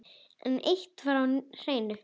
En eitt var á hreinu.